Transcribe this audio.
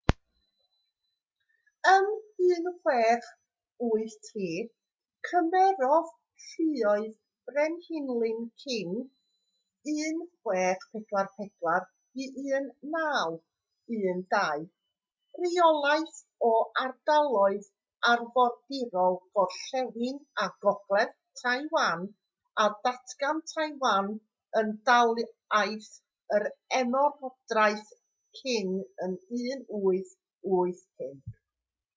ym 1683 cymerodd lluoedd brenhinlin qing 1644-1912 reolaeth o ardaloedd arfordirol gorllewin a gogledd taiwan a datgan taiwan yn dalaith o'r ymerodraeth qing ym 1885